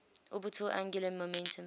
orbital angular momentum